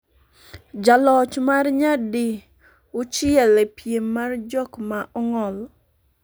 Jaloch mar nyadi uchiel e piem mar jok ma ong'ol